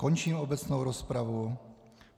Končím obecnou rozpravu.